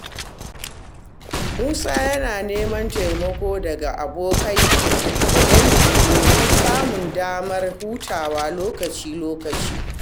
Musa yana neman taimako daga abokai da dangi domin samun damar hutawa lokaci-lokaci.